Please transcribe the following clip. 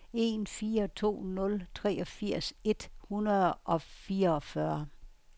en fire to nul treogfirs et hundrede og fireogfyrre